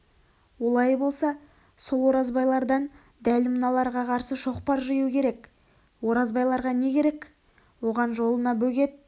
олай болса сол оразбайлардан дәл мыналарға қарсы шоқпар жию керек оразбайларға не керек оған жолына бөгет